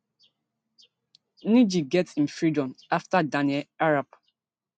ngg get im freedom afta daniel arap